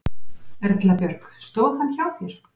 Erla Björg: Stóð hann hjá þér?